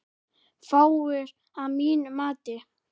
Fáir, að mínu mati.